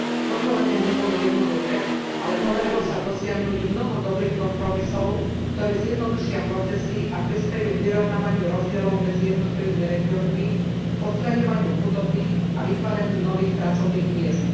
Rokovania neboli jednoduché, ale podarilo sa dosiahnuť mnoho dobrých kompromisov, ktoré zjednodušia procesy a prispejú k vyrovnávaniu rozdielov medzi jednotlivými regiónmi, k odstraňovaniu chudoby a vytváraniu nových pracovných miest.